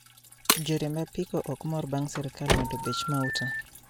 Jo riemb apiko okmor bang` sirkal med bech mauta